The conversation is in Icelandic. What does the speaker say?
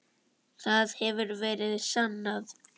Það hefur verið sannað.